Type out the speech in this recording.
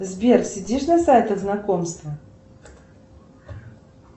сбер сидишь на сайтах знакомства